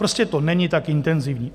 Prostě to není tak intenzivní.